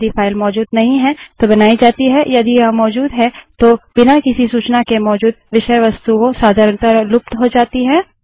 यदि फाइल मौजूद नहीं है तो बनाई जाती है यदि यह मौजूद है तो बिना किसी सूचना के मौजूद विषय वस्तुएँ सधारणतः लुप्त हो जाती हैं